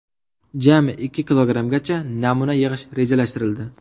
Jami ikki kilogrammcha namuna yig‘ish rejalashtirildi .